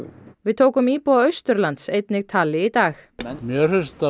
við tókum íbúa Austurlands einnig tali í dag mér finnst þetta